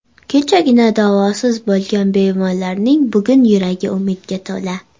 Kechagina davosiz bo‘lgan bemorlarning bugun yuragi umidga to‘la.